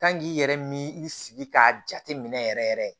Kan k'i yɛrɛ mi i sigi k'a jate minɛ yɛrɛ yɛrɛ